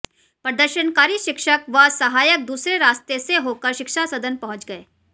प्रदर्शनकारी शिक्षक व सहायक दूसरे रास्ते से होकर शिक्षा सदन पहुंच गये